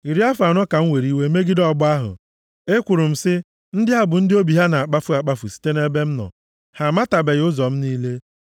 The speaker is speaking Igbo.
Iri afọ anọ ka m were iwe megide ọgbọ ahụ; ekwuru m sị, ‘Ndị a bụ ndị obi ha na-akpafu akpafu site nʼebe m nọ, ha amatabeghị ụzọ m niile.’